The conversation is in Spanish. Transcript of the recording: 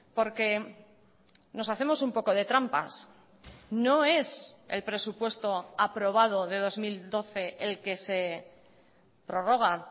porque nos hacemos un poco de trampas no es el presupuesto aprobado de dos mil doce el que se prorroga